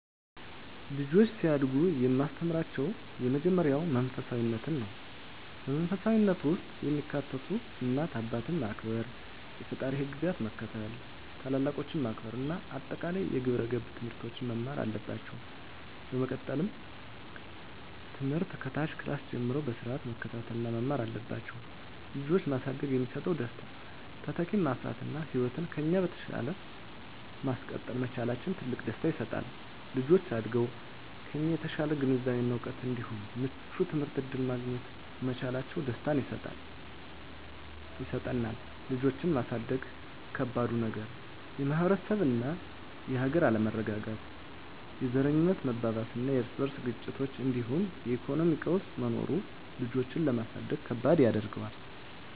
ልጆች ሲያድጉ የማስተምራቸው የመጀመሪያው መንፈሳፊነትን ነው። በመንፈሳዊነት ውስጥ የሚካተቱት እናት አባትን ማክበር፣ የፈጣሪን ህግጋት መከተል፣ ታላላቆችን ማክበር እና አጠቃላይ የግብረ ገብ ትምህርቶችን መማር አለባቸው። በመቀጠልም ትምህርት ከታች ክላስ ጀምረው በስርአት መከታተል እና መማር አለባቸው። ልጆችን ማሳደግ የሚሰጠው ደስታ:- - ተተኪን ማፍራት እና ህይወትን ከኛ በተሻለ ማስቀጠል መቻላችን ትልቅ ደስታ ይሰጣል። - ልጆች አድገው ከኛ የተሻለ ግንዛቤ እና እውቀት እንዲሁም ምቹ የትምህርት እድል ማግኘት መቻላቸው ደስታን ይሰጠናል። ልጆችን ማሳደግ ከባዱ ነገር:- - የማህበረሰብ እና የሀገር አለመረጋጋት፣ የዘረኝነት መባባስና የርስ በርስ ግጭቶች እንዲሁም የኢኮኖሚ ቀውስ መኖሩ ልጆችን ለማሳደግ ከባድ ያደርገዋል።